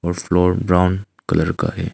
और floor brown colour का है।